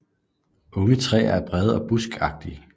Unge træer er brede og buskagtige